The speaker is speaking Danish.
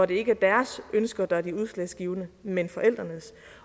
det ikke er deres ønsker der er de udslagsgivende men forældrenes